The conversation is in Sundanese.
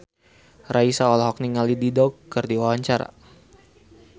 Raisa olohok ningali Dido keur diwawancara